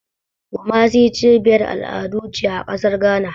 Kumasi cibiyar al'adu ce a ƙasar Ghana.